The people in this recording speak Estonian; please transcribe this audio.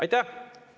Aitäh!